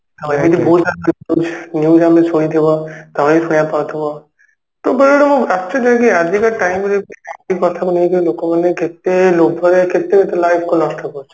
ଆଉ ଏମିତି ବହୁତ ସାରା କଥା usually ଶୁଣିଥିବ ତମେ ବି ଶୁଣିବାକୁ ପାଉଥିବ ତ ବେଳେବେଳେ ମୁଁ ଆଶ୍ଚର୍ଯ୍ୟ ହୁଏ କି ଆଜିକା time ରେ ବି Drawing ଲୋକମାନେ କେତେ ଲୋଭରେ କେତେ life କୁ ନଷ୍ଟ କରୁଛନ୍ତି